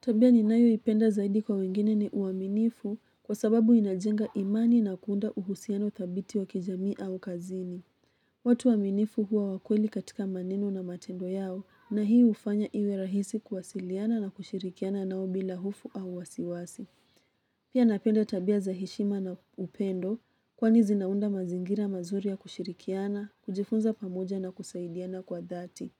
Tabia ninayo ipenda zaidi kwa wengine ni uaminifu kwa sababu inajenga imani na kuunda uhusiano thabiti wa kijamii au kazini. Watu waaminifu huwa wakweli katika maneno na matendo yao na hii hufanya iwe rahisi kuwasiliana na kushirikiana nao bila hofu au wasiwasi. Pia napenda tabia za heshima na upendo kwani zinaunda mazingira mazuri ya kushirikiana, kujifunza pamoja na kusaidiana kwa dhati.